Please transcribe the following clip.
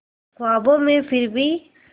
ख्वाबों में फिर भी